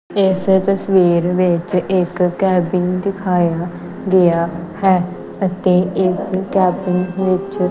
ਇਸ ਤਸਵੀਰ ਵਿੱਚ ਇੱਕ ਕੈਬਿਨ ਦਿਖਾਇਆ ਗਿਆ ਹੈ ਅਤੇ ਇਸ ਕੈਬਿਨ ਵਿੱਚ--